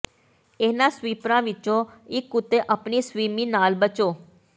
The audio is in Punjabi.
ਇਹਨਾਂ ਸਵੀਪਰਾਂ ਵਿੱਚੋਂ ਇੱਕ ਉੱਤੇ ਆਪਣੀ ਸਵੀਮੀ ਨਾਲ ਬਚੋ